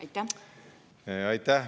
Aitäh!